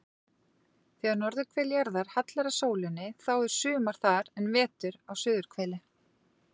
Þegar norðurhvel jarðar hallar að sólinni þá er sumar þar en vetur á suðurhveli.